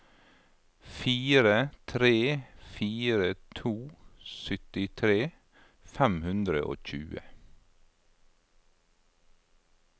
fire tre fire to syttitre fem hundre og tjue